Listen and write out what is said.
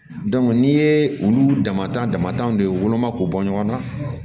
n'i ye olu damatan damatɛmɛ woloma k'u bɔ ɲɔgɔn na